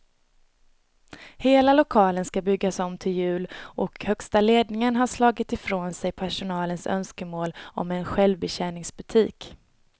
Hela lokalen ska byggas om till jul och högsta ledningen har slagit ifrån sig personalens önskemål om en självbetjäningsbutik.